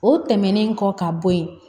O tɛmɛnen kɔ ka bɔ yen